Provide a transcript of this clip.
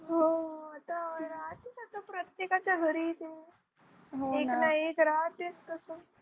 हो तर आहे तसं प्रत्येकाच्या घरी एक ना एक राहतेच तसं